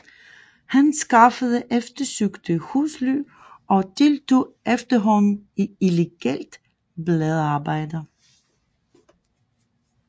Han skaffede eftersøgte husly og deltog efterhånden i illegalt bladarbejde